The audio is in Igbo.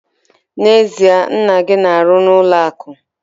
N'ezie? Nna gị na-arụ n'ụlọ akụ!